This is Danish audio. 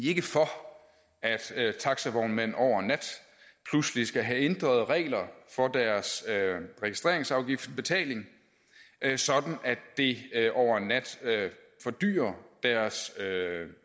ikke for at taxavognmænd over en nat pludselig skal have ændret reglerne for deres registreringsafgiftsbetaling sådan at det over en nat fordyrer deres